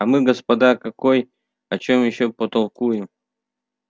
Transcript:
а мы господа какой о чём ещё потолкуем